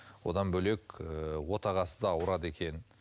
одан бөлек ыыы отағасы да ауырады екен